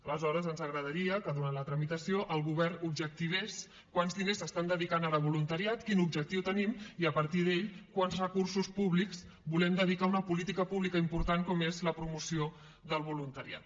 aleshores ens agradaria que durant la tramitació el govern objectivés quants diners s’estan dedicant ara a voluntariat quin objectiu tenim i a partir d’aquest quants recursos públics volem dedicar a una política pública important com és la promoció del voluntariat